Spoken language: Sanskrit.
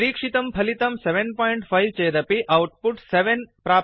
निरिक्षितं फलितं 75 सप्त पञ्च चेदपि औट्पुट् 70 सप्त